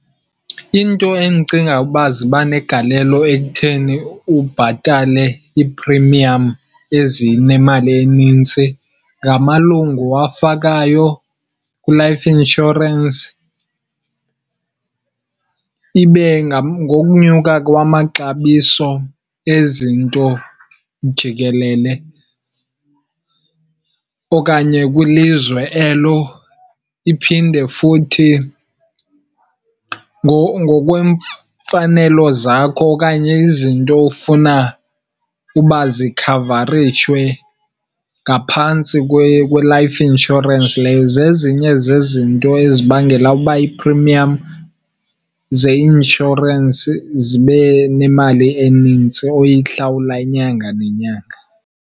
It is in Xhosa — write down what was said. Iinto endicinga uba ziba negalelo ekutheni ubhatale ii-premium ezinemali enintsi ngamalungu owafakayo kwi-life insurance, ibe ngokunyuka kwamaxabiso ezinto jikelele okanye kwilizwe elo. Iphinde futhi ngokweemfanelo zakho okanye izinto ofuna uba zikhavarishwe ngaphantsi kwe-life insurance leyo. Zezinye zezinto ezibangela uba ii-premium zeinshorensi zibe nemali eninzi oyihlawula inyanga nenyanga.